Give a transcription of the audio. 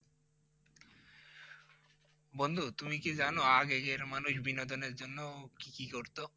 বন্ধু তুমি কি জানো আগের কার মানুষ বিনোদনের জন্য কি কি করতো?